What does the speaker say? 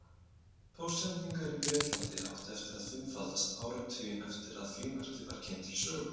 Póstsendingar í Bretlandi áttu eftir að fimmfaldast áratuginn eftir að frímerkið var kynnt til sögunnar.